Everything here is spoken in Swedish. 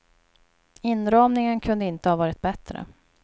Inramningen kunde inte ha varit bättre.